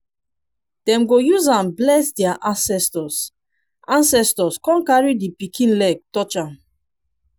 dem go use am bless dia ancestors ancestors con carry di pikin leg touch am